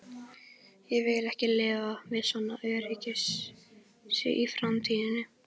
Ég vil ekki lifa við svona öryggisleysi í framtíðinni.